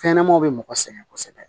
Fɛnɲɛnɛmaw bɛ mɔgɔ sɛgɛn kosɛbɛ